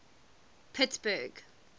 pittsburgh